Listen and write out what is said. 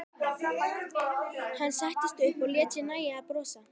Hann settist upp og lét sér nægja að brosa.